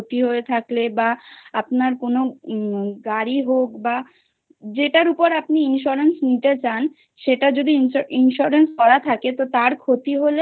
কোনও ক্ষতি হয়ে থাকলে বা আপনার কোনও গাড়িই হোক বা যেটার উপর আপনি insurance নিতে চান৷ সেটা যদি insurance করা থাকে তো তার ক্ষতি